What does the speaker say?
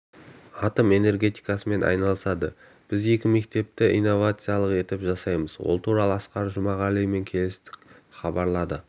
атом энергетикасымен айналысады біз екі мектепті инновациялық етіп жасаймыз ол туралы асқар жұмағалимен келістік хабарлады